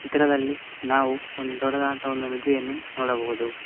ಚಿತ್ರದಲ್ಲಿ ನಾವು ಒಂದು ದೊಡ್ಡದಾದಂತ ಒಂದು ನದಿಯನ್ನು ನೋಡಬಹುದು.